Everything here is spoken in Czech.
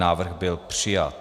Návrh byl přijat.